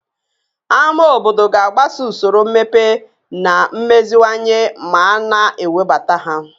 Ámá obodo ga-agbaso usoro mmepe na mmeziwanye ma a na-ewebata ha